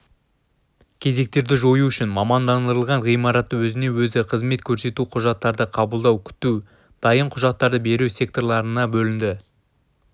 кезектерді жою үшін мамандандырылған ғимараты өзіне-өзі қызмет көрсету құжаттарды қабылдау күту дайын құжаттарды беру секторларына бөлінді